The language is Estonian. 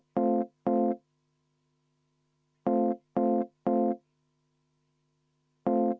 Kõigepealt kümme minutit vaheaega.